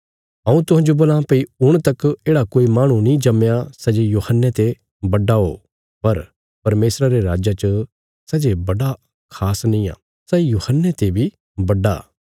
हऊँ तुहांजो बोलां भई हुण तक येढ़ा कोई माहणु नीं जम्मया सै जे यूहन्ने ते बड्डा ओ पर परमेशरा रे राज्जा च सै जे बड़ा खास नींआ सै यूहन्ने ते बी बड्डा